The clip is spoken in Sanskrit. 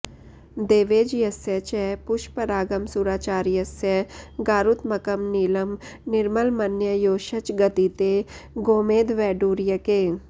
देवेज्यस्य च पुष्परागमसुराचार्यस्य गारुत्मकम् नीलं निर्मलमन्ययोश्च गदिते गोमेदवैडूर्यके